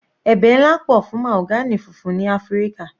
Ẹ̀bẹ̀ nlá pọ̀ fún mahogany funfun ti Áfíríkà.